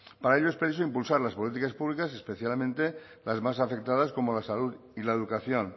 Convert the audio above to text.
para ello es preciso impulsar las políticas públicas y especialmente las más afectadas como la salud y la educación